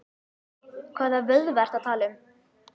Hvaða vöðva ertu að tala um?